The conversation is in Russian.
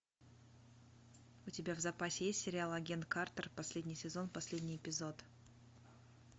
у тебя в запасе есть сериал агент картер последний сезон последний эпизод